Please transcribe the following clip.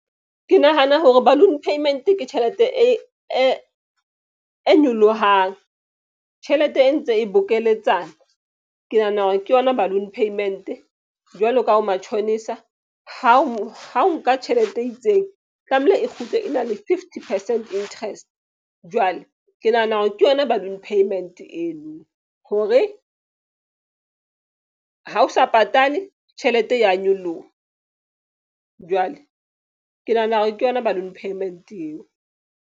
Ke nahana hore balloon payment ke tjhelete e nyolohang, tjhelete e ntse e bokeletsana. Ke nahana hore ke yona balloon payment jwalo ka ho matjhonisa. Ha o nka tjhelete e itseng, tlamehile e kgutle e na le fifty percent interest. Jwale ke nahana hore ke yona balloon payment eno, hore ha o sa patale tjhelete e ya nyoloha. Jwale ke nahana hore ke yona balloon payment eo.